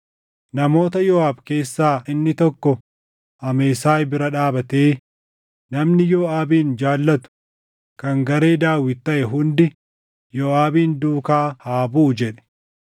Namoota Yooʼaab keessaa inni tokko Amesaay bira dhaabatee, “Namni Yooʼaabin jaallatu, kan garee Daawit taʼe hundi Yooʼaabin duukaa haa buʼu!” jedhe.